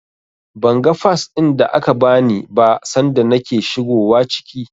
Ban ga Fas ɗin da aka bani ba sanda nake shigowa ciki.